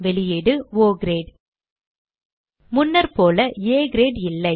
வெளியீடு ஒ கிரேட் முன்னர்போல ஆ கிரேட் இல்லை